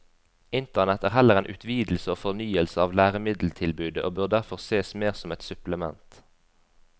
Internett er heller en utvidelse og fornyelse av læremiddeltilbudet og bør derfor sees mer som et supplement.